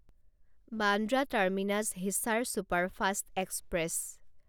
Bandra terminus Hisar superfast express